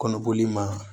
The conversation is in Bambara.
Kɔnɔboli ma